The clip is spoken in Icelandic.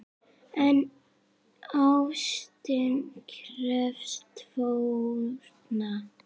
En ástin krefst fórna!